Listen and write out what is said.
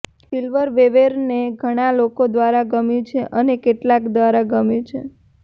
સિલ્વરવેવેરને ઘણા લોકો દ્વારા ગમ્યું છે અને કેટલાક દ્વારા ગમ્યું છે